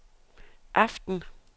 aften